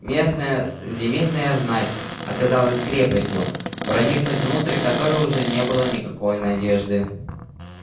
местная земельная знать оказалась крепостью проникнуть внутрь которой уже не было никакой надежды